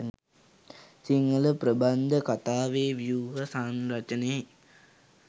සිංහල ප්‍රබන්ධ කතාවේ ව්‍යුහ සංරචනයේ